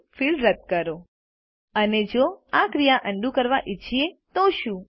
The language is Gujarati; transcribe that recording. ફિલ્ડ રદ કરો અને જો આ ક્રિયા અન્ડું કરવા ઈચ્છીએ તો શું